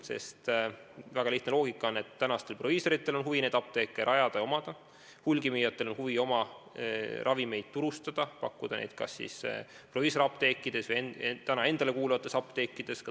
Sest väga lihtne loogika ütleb, et tänastel proviisoritel on huvi apteeke rajada ja omada, hulgimüüjatel on huvi ravimeid turustada, pakkuda neid ka tulevikus kas siis proviisoriapteekides või endale kuuluvates apteekides.